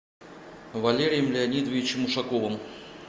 валерием леонидовичем ушаковым